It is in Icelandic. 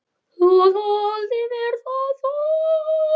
Þú þoldir mér það þó.